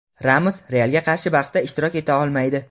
Ramos "Real"ga qarshi bahsda ishtirok eta olmaydi.